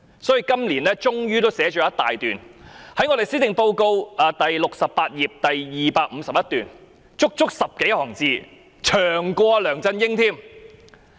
所以，今年她終於寫了一大段，在施政報告第68頁第251段，足足有10多行，比梁振英的篇幅還長。